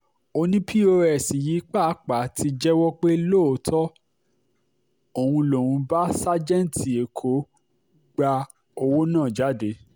óní pọ́s yìí pàápàá ti jẹ́wọ́ pé lóòótọ́ òun lòún bá ṣájẹ́ǹtì èkó gba owó náà jáde